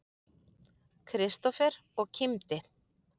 Kristófer og kímdi.